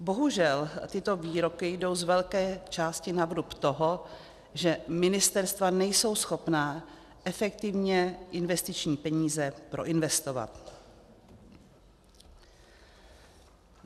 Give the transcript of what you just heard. Bohužel tyto výroky jdou z velké části na vrub toho, že ministerstva nejsou schopna efektivně investiční peníze proinvestovat.